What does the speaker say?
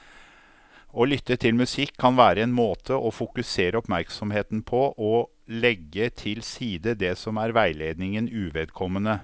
Å lytte til musikk kan være en måte å fokusere oppmerksomheten på og legge til side det som er veiledningen uvedkommende.